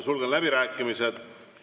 Sulgen läbirääkimised.